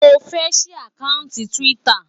Mo fẹ́ ṣí àkáùntì Twitter.